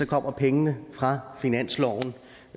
kommer pengene fra finansloven